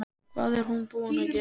Hvað er hún búin að gera!